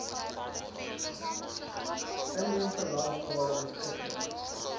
inheemse landstale beskikbaar